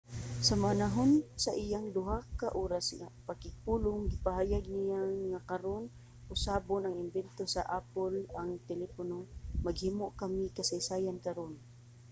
sa panahon sa iyang duha ka oras nga pakigpulong gipahayag niya nga karon usabon og imbento sa apple ang telepono maghimo kami kasaysayan karon